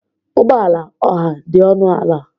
Ụgbọ ala ọha dị ọnụ ala.